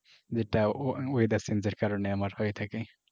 যেটা weather change এর কারনে আমার হয়ে থাকে।